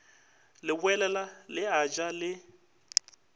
leboela le a ja le